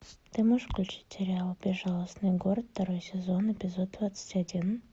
ты можешь включить сериал безжалостный город второй сезон эпизод двадцать один